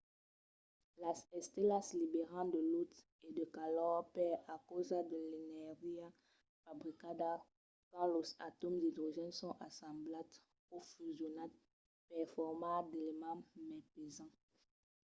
las estelas liberan de lutz e de calor per encausa de l'energia fabricada quand los atòms d'idrogèn son assemblats o fusionats per formar d'elements mai pesants